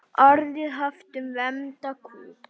Orðið haft um vembda kú.